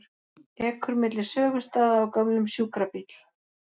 Ekur milli sögustaða á gömlum sjúkrabíl